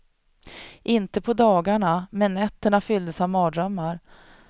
Inte på dagarna, men nätterna fylldes av mardrömmar.